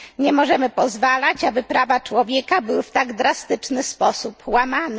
Nie możemy pozwalać, aby prawa człowieka były w tak drastyczny sposób łamane.